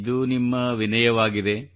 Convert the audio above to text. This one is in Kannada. ಇದು ನಿಮ್ಮ ವಿನಯವಾಗಿದೆ